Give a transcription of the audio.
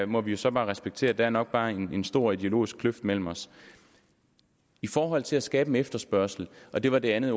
må vi jo så respektere der er nok bare en stor ideologisk kløft mellem os i forhold til at skabe en efterspørgsel og det var det andet